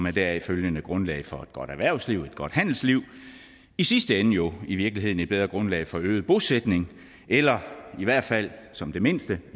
et deraf følgende grundlag for et godt erhvervsliv et godt handelsliv i sidste ende jo i virkeligheden et bedre grundlag for øget bosætning eller i hvert fald som det mindste